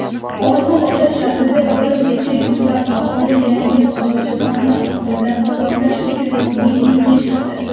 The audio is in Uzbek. Olma-ota shahrida bir necha yuzlab aholi "Yangi Qozog‘iston"ni qo‘llab-quvvatlash uchun mitingga chiqdi.